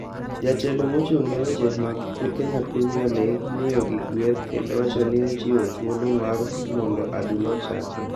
Jatelo mochung ne weche mag kenya prermier league miyo gi gweth kendo wacho ni ochiwo thuolo mar mondo adhula ochakre.